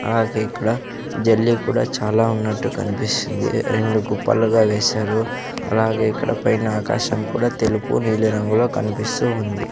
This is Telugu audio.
అలాగే ఇక్కడ జల్లి కూడా చాలా ఉన్నట్టు కన్పిస్తుంది రెండు కుప్పలుగా వేశారు అలాగే ఇక్కడ పైన ఆకాశం కూడా తెలుపు నీలిరంగులో కనిపిస్తూ ఉంది.